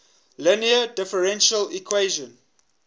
linear differential equation